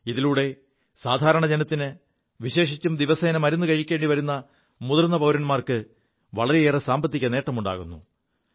ഇതിലൂടെ സാധാരണ ജനത്തിന് വിശേഷിച്ചും ദിവസേന മരുു കഴിക്കേണ്ടി വരു മുതിർ പൌരന്മാർക്ക് വളരെയേറെ സാമ്പത്തിക നേമുണ്ടാകുു